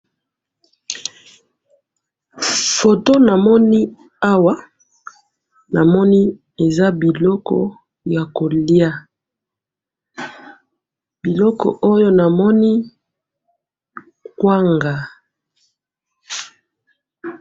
photo na moni awa na moni eza biloko ya kolya biloko oyo na moni kwanga